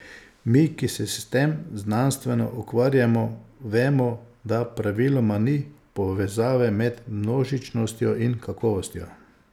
Mi, ki se s tem znanstveno ukvarjamo, vemo, da praviloma ni povezave med množičnostjo in kakovostjo.